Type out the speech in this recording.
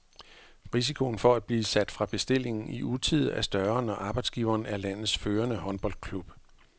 Risikoen for at blive sat fra bestillingen i utide er større, når arbejdsgiveren er landets førende håndboldklub.